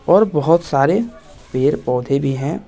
और बहुत सारे पेड़ पौधे भी हैं।